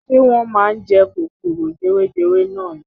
Ṣé wọ́n máa ń jẹ kòkòrò jewejewe nani.